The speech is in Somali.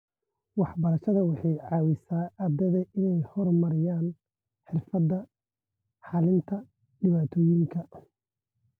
Waxbarashada waxay ka caawisaa ardayda inay horumariyaan xirfadaha xalinta dhibaatooyinka.